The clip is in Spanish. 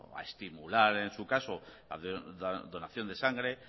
a estimular en su caso la donación de sangre